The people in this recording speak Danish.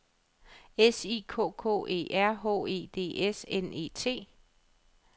S I K K E R H E D S N E T